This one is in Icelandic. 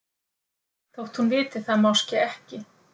Þótt hún viti það máske ekki.